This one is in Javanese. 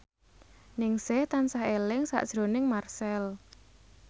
Ningsih tansah eling sakjroning Marchell